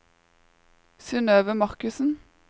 Synøve Markussen